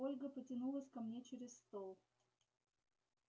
ольга потянулась ко мне через стол